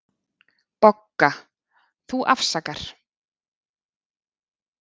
BOGGA: Þú afsakar.